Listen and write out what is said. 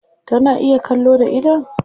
Tana iya kallo da idon?